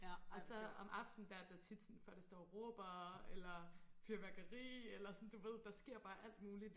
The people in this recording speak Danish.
og så om aftenen der er der tit sådan folk der står og råber eller fyrværkeri eller sådan du ved der sker bare alt muligt